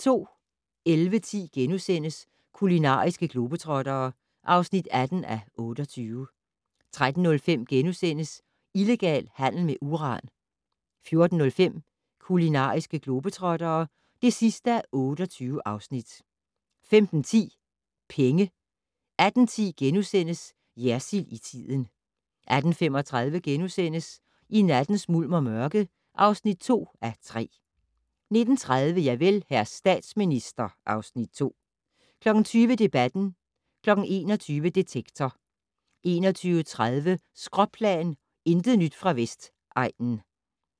11:10: Kulinariske globetrottere (18:28)* 13:05: Illegal handel med uran * 14:05: Kulinariske globetrottere (28:28) 15:10: Penge 18:10: Jersild i tiden * 18:35: I nattens mulm og mørke (2:3)* 19:30: Javel, hr. statsminister (Afs. 2) 20:00: Debatten 21:00: Detektor 21:30: Skråplan - intet nyt fra Vestegnen